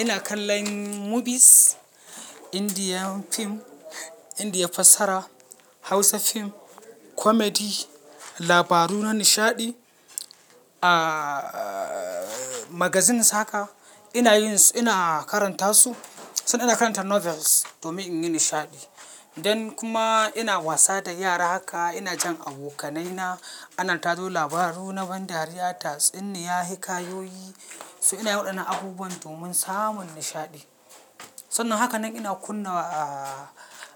Ina kallon mobies, Indian pim, Indian fassara, Hausa fim, comedy, labaru na nishaɗi, magazines haka, ina karanta su. Sai ina karanta novels domin in yi nishaɗi. Dan kuma ina wasa da yara haka, ina jan abokanai na, ana tado labaru na ban dariya, tatsuniya, hikayoyi. So inayin waɗannan abubuwan domin samun nishaɗi. Sannan haka nan ina kunna